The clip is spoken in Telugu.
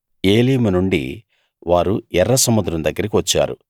ఏలీము నుండి వారు ఎర్ర సముద్రం దగ్గరికి వచ్చారు